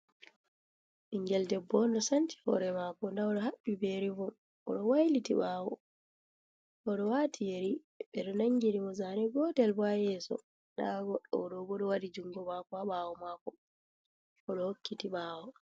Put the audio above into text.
Ɓingeel ɗebbo on ɗo sanci hore mako nda oɗo haɓɓi be rivom, oɗo wailiti ɓawo oɗo wati yeri, ɓeɗo nangi ni mo zane gotel bo ha yeso nda goɗɗo ɓo ɗo waɗi jungo mako ha ɓawo mako oɗo hokkiti ɓawo.